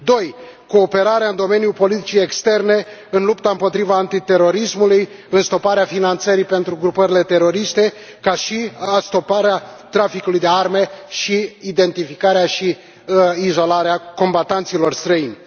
2 cooperarea în domeniul politicii externe în lupta împotriva terorismului, în stoparea finanțării pentru grupările teroriste ca și în stoparea traficului de arme, identificarea și izolarea combatanților străini